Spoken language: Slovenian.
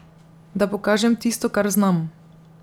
Da pokažem tisto, kar znam.